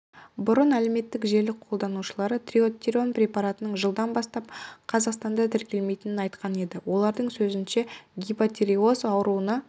бұрын әлеуметтік желі қолданушылары трийодтиронин препаратының жылдан бастап қазақстанда тіркелмейтінін айтқан еді олардың сөзінше гипотиреоз ауруына